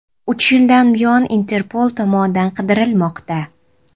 U uch yildan buyon Interpol tomonidan qidirilmoqda.